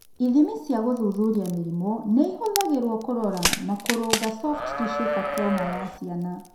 Ithimi cia gũthuthuria mĩrimũ nĩ ihũthagĩrũo kũrora na kũrũnga soft tissue sarcoma ya ciana.